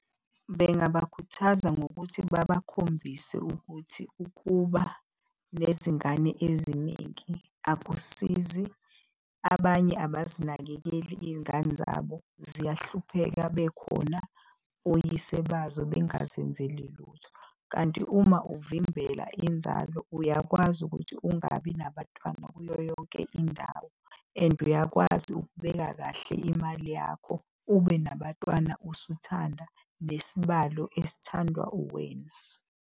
Bengabakhuthaza ngokuthi babakhombise ukuthi ukuba nezingane eziningi akusizi. Abanye abazinakekeli iy'ngane zabo, ziyahlupheka bekhona oyise bazo bengazenzeli lutho. Kanti uma uvimbela inzalo uyakwazi ukuthi ungabi nabatwana kuyo yonke indawo and uyakwazi ukubeka kahle imali yakho. ube nabatwana usuthanda, nesibalo esithandwa uwena.